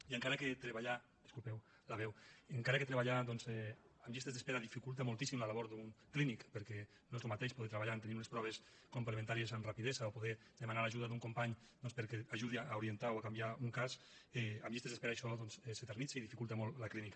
i encara que treballar disculpeu me la veu amb llistes d’espera dificulta moltíssim la labor d’un clínic perquè no és el mateix poder treballar tenint unes proves complementàries amb rapidesa o poder demanar l’ajuda d’un company perquè ajudi a orientar o a canviar un cas amb llistes d’espera això doncs s’eternitza dificulta molt la clínica